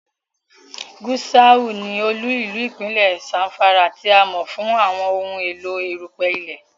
Gusau ní olú-ìlú ipinlẹ Zamfara, tí a mọ fún àwọn ohùn èló erupẹ ilẹ